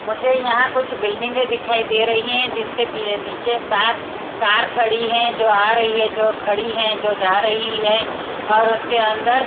मुझे यहां कुछ बिल्डिंगे दिखाई दे रही है जिसके पी नीचे बाहर कार खड़ी है जो आ रही है जो खड़ी है जो जा रही है और उसके अंदर--